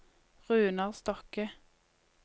Runar Stokke